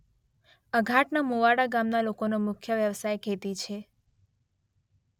અઘાટના મુવાડા ગામના લોકોનો મુખ્ય વ્યવસાય ખેતી છે.